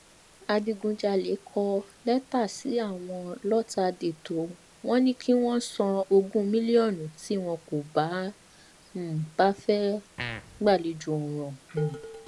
adigunjalè kọ lẹtà sí wọn lọtàdétò wọn ni kí wọn san ogún mílíọnù tí wọn kò um bá fẹẹ gbàlejò ọràn um